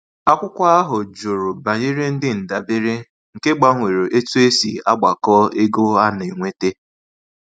Akwụkwọ ahụ jụrụ banyere ndị ndabere, nke gbanwere etu e si agbakọ ego a na-enwete.